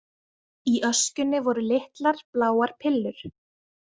Í öskjunni voru litlar, bláar pillur.